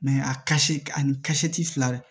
a ka se ani ka seti fila